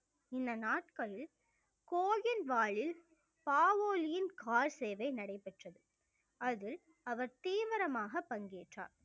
இந்த நாட்களில் கோயில் வாலில் காவோளியின் கால் சேவை நடைபெற்றது அதில் அவர் தீவிரமாக பங்கேற்றார்